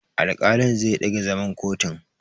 Alƙalin zai ɗage zaman kotun.